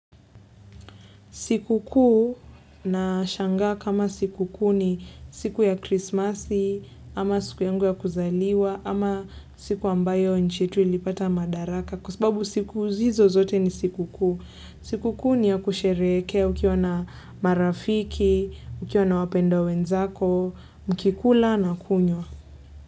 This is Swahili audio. Sikukuu nashanga kama sikukuu ni siku ya krismasi, ama siku yangu ya kuzaliwa, ama siku ambayo nchi yetu ilipata madaraka kwa sababu siku hizo zote ni sikukuu. Sikukuu ni ya kusherehekea ukiwa na marafiki, ukiwa na wapendwa wenzako, mkikula na kunywa.